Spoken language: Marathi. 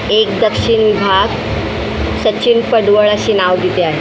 एक दक्षिणी भाग सचिन पडवळ असे नाव तिथे आहे.